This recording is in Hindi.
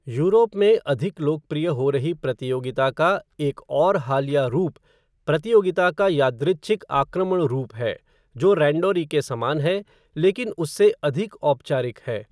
यूरोप में अधिक लोकप्रिय हो रही प्रतियोगिता का एक और हालिया रूप प्रतियोगिता का यादृच्छिक आक्रमण रूप है, जो रैंडोरी के समान है, लेकिन उससे अधिक औपचारिक है।